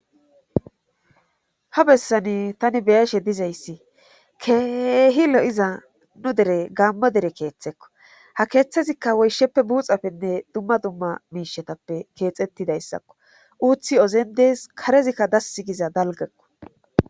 ha bessani tani beyashe dizayssi keehi lo7iza nu dere gaammo dere keeththekko ha keeththazikka woysheppe buuxapenne dumma dumma miishetappe keexettidayssakko uuthi ozen dees karezikka dassi giza dalgakko